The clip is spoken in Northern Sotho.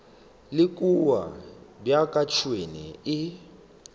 le kua bjaka tšhwene e